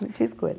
Não tinha escolha.